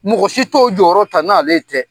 Mɔgɔ si t'o jɔyɔrɔ ta n'ale tɛ.